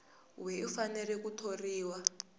we u fanele ku thoriwa